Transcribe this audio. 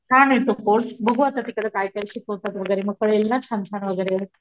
छान ये तो कोर्स बघू आता तिकडे काय काय शिकवतात वैगरे मी कळेल ना छान छान वैगरे,